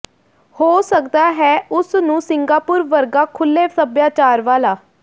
ਹੋ ਸਕਦਾ ਹੈ ਉਸ ਨੂੰ ਸਿੰਗਾਪੁਰ ਵਰਗਾ ਖੁੱਲੇ ਸਭਿਆਚਾਰ ਵਾਲਾ